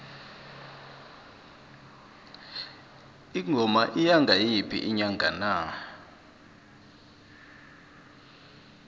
ingoma iya ngayiphi inyanga na